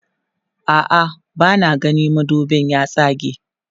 a'a bana gani madubin ya tsage